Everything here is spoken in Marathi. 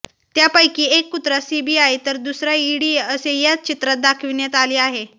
त्यापैकी एक कुत्रा सीबीआय तर दुसरा इडी असे या चित्रात दाखविण्यात आले आहे